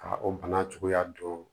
Ka o bana cogoya don